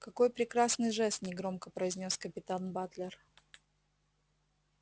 какой прекрасный жест негромко произнёс капитан батлер